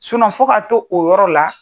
fɔ ka t'o o yɔrɔ la.